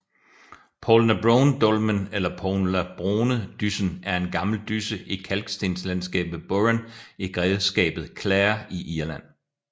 Poulnabrone Dolmen eller Poulnabronedyssen er en gammel dysse i kalkstenslandskabet Burren i grevskabet Clare i Irland